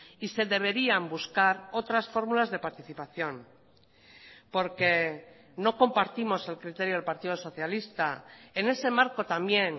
y se deberían buscar otras fórmulas de participación porque no compartimos el criterio del partido socialista en ese marco también